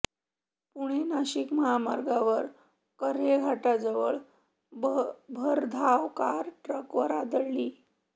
पुणे नाशिक महामार्गावर कऱ्हे घाटाजवळ भरधाव कार ट्रकवर आदळली